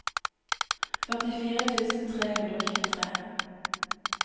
førtifire tusen tre hundre og tjuetre